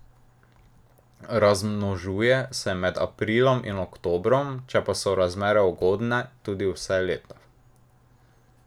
Razmnožuje se med aprilom in oktobrom, če pa so razmere ugodne, tudi vse leto.